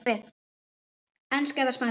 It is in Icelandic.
Enska eða Spænska?